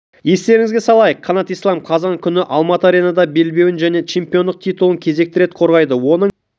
естеріңізге салайық қанат ислам қазан күні алматы аренада белбеуін және чемпиондық титулын кезекті рет қорғайды оның